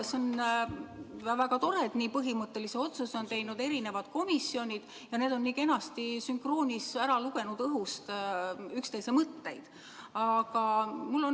See on väga tore, et nii põhimõttelise otsuse on teinud eri komisjonid ja nad on nii kenasti sünkroonis õhust üksteise mõtteid lugenud.